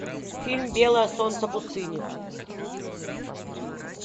фильм белое солнце пустыни